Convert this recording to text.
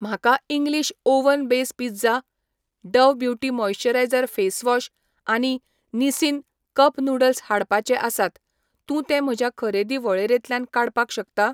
म्हाका English oven base pizza, Dove beauty moisture face wash आनी Nissin cup noodles काडपाचे आसात, तूं ते म्हज्या खरेदी वळेरेंतल्यान काडपाक शकता?